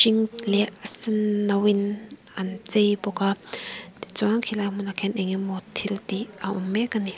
leh a senno in an chei bawk a tichuan khilai hmunah khian enge maw thil tih a awm mek a ni.